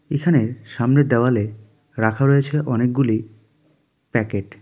এখানের সামনের দেওয়ালে রাখা রয়েছে অনেকগুলি প্যাকেট .